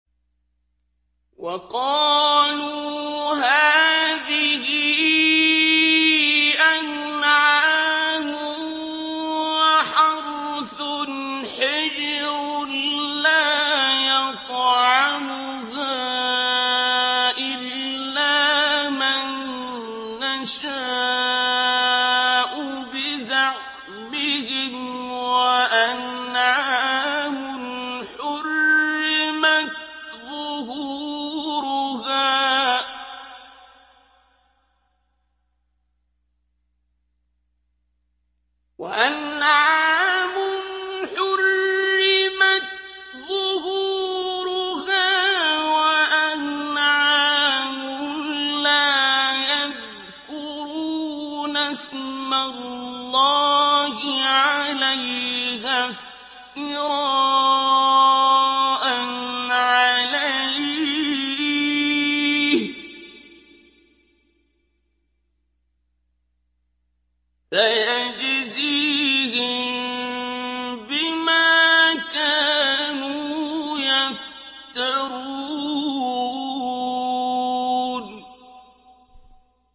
وَقَالُوا هَٰذِهِ أَنْعَامٌ وَحَرْثٌ حِجْرٌ لَّا يَطْعَمُهَا إِلَّا مَن نَّشَاءُ بِزَعْمِهِمْ وَأَنْعَامٌ حُرِّمَتْ ظُهُورُهَا وَأَنْعَامٌ لَّا يَذْكُرُونَ اسْمَ اللَّهِ عَلَيْهَا افْتِرَاءً عَلَيْهِ ۚ سَيَجْزِيهِم بِمَا كَانُوا يَفْتَرُونَ